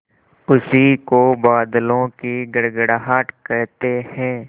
उसी को बादलों की गड़गड़ाहट कहते हैं